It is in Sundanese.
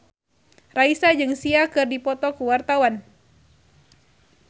Raisa jeung Sia keur dipoto ku wartawan